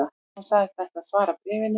Hann sagðist ætla að svara bréfinu